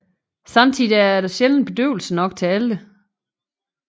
Samtidig er der sjældent bedøvelse nok til alle